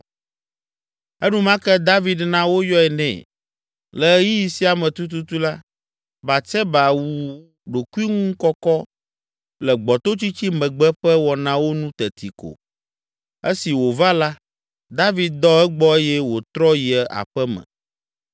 Enumake David na woyɔe nɛ. Le ɣeyiɣi sia me tututu la, Batseba wu ɖokuiŋukɔkɔ le gbɔtotsitsi megbe ƒe wɔnawo nu teti ko. Esi wòva la, David dɔ egbɔ eye wòtrɔ yi aƒe me.